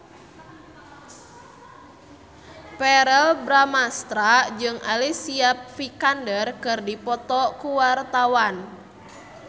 Verrell Bramastra jeung Alicia Vikander keur dipoto ku wartawan